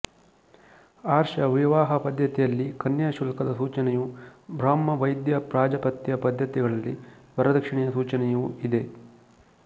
ಆರ್ಷ ವಿವಾಹ ಪದ್ಧತಿಯಲ್ಲಿ ಕನ್ಯಾಶುಲ್ಕದ ಸೂಚನೆಯೂ ಬ್ರಾಹ್ಮ ದೈವ ಪ್ರಾಜಾಪತ್ಯ ಪದ್ಧತಿಗಳಲ್ಲಿ ವರದಕ್ಷಿಣೆಯ ಸೂಚನೆಯೂ ಇದೆ